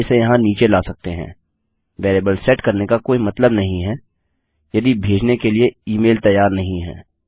हम इसे यहाँ नीचे ला सकते हैं वेरिएबल सेट करने का कोई मतलब नहीं है यदि भेजने के लिए ई मेल तैयार नहीं है